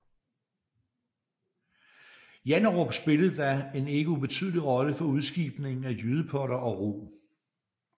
Janderup spillede da en ikke ubetydelig rolle for udskibningen af jydepotter og rug